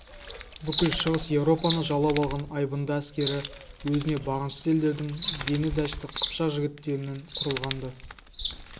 бүкіл шығыс европаны жаулап алған айбынды әскері өзіне бағынышты елдердің дені дәшті қыпшақ жігіттерінен құрылған-ды